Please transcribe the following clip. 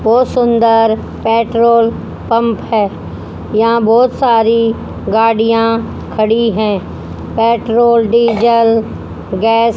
बहोत सुंदर petrol pump है यहां बहोत सारी गाड़ियां खड़ी है पेट्रोल डीजल गैस --